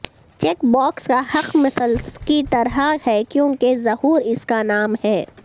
check box کا حق مثلث کی طرح ہے کیونکہ ظہور اس کا نام ہے